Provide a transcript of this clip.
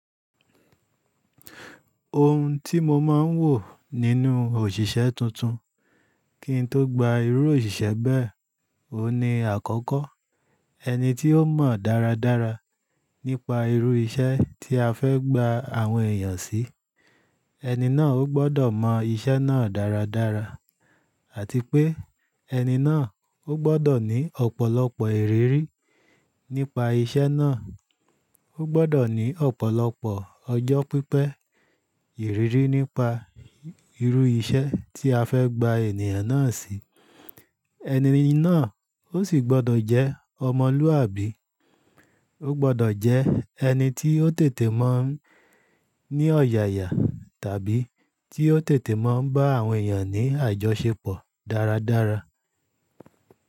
Ohun tí mo máa ń wò nínú òṣìṣẹ́ tuntun kí n tó gba irú òṣìṣẹ́ bẹ́ẹ̀, ohun ní àkọ́kọ́, ẹni tí ó mọ̀ dáradára nípa irú iṣẹ́ tí a fẹ́ gba àwọn èèyàn sí, ẹni náà ó gbọ́dọ̀ mọ iṣẹ́ náà dáradára àti pé ẹni náà ó gbọ́dọ̀ ní ọ̀pọ̀lọpọ̀ ìrírí nípa iṣẹ́ náà. Ó gbọ́dọ̀ ní ọ̀pọ̀lọpọ̀ ọjọ́ pípẹ́ ìrírí nípa irú iṣẹ́ tí a fẹ́ gba ènìyàn náà sí. Ẹni náà ó sì gbọ́dọ̀ jẹ́ ọmọlúàbí, ó gbọ́dọ̀ jẹ́ ẹni tí ó tètè mọ̀ n ní ọ̀yàyà tàbí tí ó tètè mọ̀ ń bá àwọn èèyàn ní àjọṣepọ̀ dáradára.